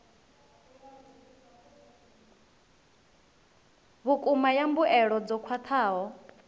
vhukuma ya mbuelo dzo khwathaho